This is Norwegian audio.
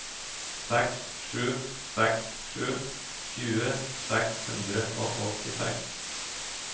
seks sju seks sju tjue seks hundre og åttiseks